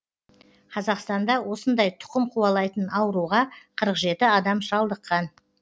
қазақстанда осындай тұқым қуалайтын ауруға қырық жеті адам шалдыққан